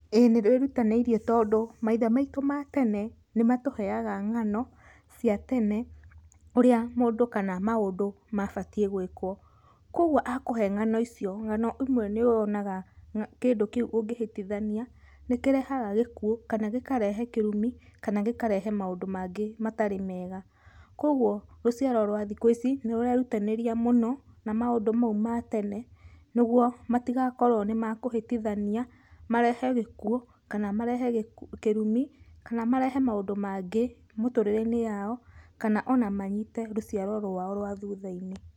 Ĩĩ nĩrwĩrutanĩirie tondũ maithe maitũ ma tene nĩmatũheaga ng'ano cia tene ũrĩa mũndũ kana maũndũ mabatiĩ gwĩkwo. Kwogwo akũhe ng'ano icio, ng'ano imwe nĩwonaga kĩndũ kĩu ũngĩhĩtithania nĩkĩrehaga gĩkuũ, kana gĩkarehe kĩrumi, kana gĩkarehe maũndũ mangĩ matarĩ mega. Kwogwo rũciaro rwa thikũ ici nĩrũrerutanĩria mũno na maũndũ mau ma tene nĩgwo matigakorwo nĩmakũhĩtithania, marehe gĩkuũ, kana marehe kĩrumi, kana marehe maũndũ mangĩ mũtũrĩre-inĩ yao, kana ona manyite rũciaro rwao rwa thutha-inĩ.